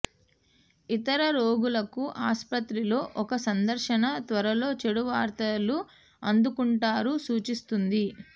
ఇతర రోగులకు ఆసుపత్రిలో ఒక సందర్శన త్వరలో చెడు వార్తలు అందుకుంటారు సూచిస్తుంది